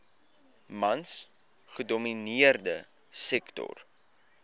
mans gedomineerde sektor